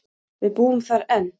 Við búum þar enn.